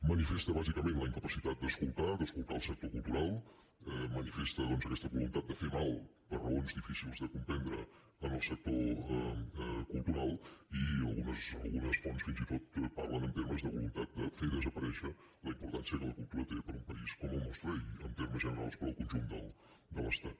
manifesta bàsicament la incapacitat d’escoltar d’escoltar el sector cultural manifesta doncs aquesta voluntat de fer mal per raons difícils de comprendre al sector cultural i algunes fonts fins i tot parlen en termes de voluntat de fer desaparèixer la importància que la cultura té per a un país com el nostre i en termes generals per al conjunt de l’estat